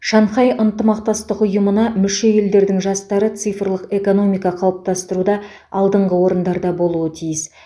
шанхай ынтымақтастық ұйымына мүше елдердің жастары цифрлық экономика қалыптастыруда алдыңғы орындарда болуы тиіс